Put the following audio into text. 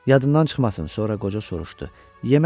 Yadından çıxmasın, sonra qoca soruşdu.